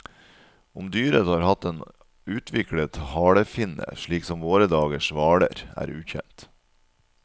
Om dyret har hatt en utviklet halefinne, slik som våre dagers hvaler, er ukjent.